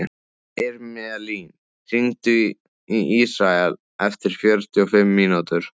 Irmelín, hringdu í Ísrael eftir fjörutíu og fimm mínútur.